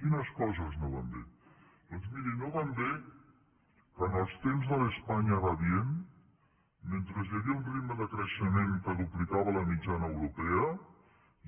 quines coses no van bé doncs miri no va bé que en els temps de l’ españa va bien mentre hi havia un ritme de creixement que duplicava la mitjana europea